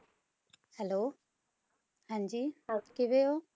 Hello ਹਾਂਜੀ ਆਪ ਕਿਵੇਂ ਹੋ